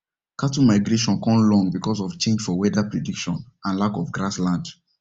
cattle migration con long because of change for weather prediction and lack of grass land